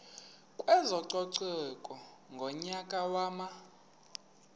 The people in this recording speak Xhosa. kwezococeko ngonyaka wama